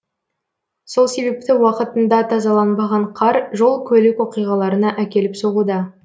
сол себепті уақытында тазаланбаған қар жол көлік оқиғаларына әкеліп соғуда